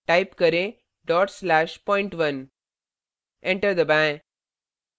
type करें dot slash point1 enter दबाएँ